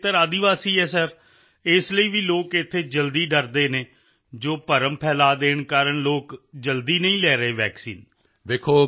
ਆਪਣਾ ਖੇਤਰ ਆਦਿਵਾਸੀ ਹੈ ਸਰ ਇਸ ਲਈ ਵੀ ਲੋਕ ਇੱਥੇ ਜਲਦੀ ਡਰਦੇ ਹਨ ਜੋ ਭਰਮ ਫੈਲਾਅ ਦੇਣ ਕਾਰਨ ਲੋਕ ਜਲਦੀ ਨਹੀਂ ਲੈ ਰਹੇ ਵੈਕਸੀਨ